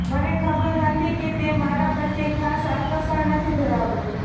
મને ખબર હતી કે તે મારા પ્રત્યે ખાસ આકર્ષણ નથી ધરાવતો